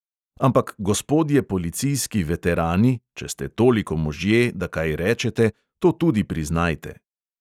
Ampak gospodje policijski veterani, če ste toliko možje, da kaj rečete, to tudi priznajte.